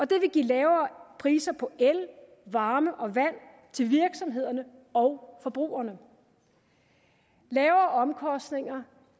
det vil give lavere priser på el varme og vand til virksomhederne og forbrugerne lavere omkostninger